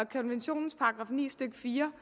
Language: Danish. konventionens § ni stykke fire